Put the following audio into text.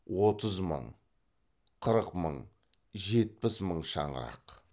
отыз мың қырық мың жетпіс мың шаңырақ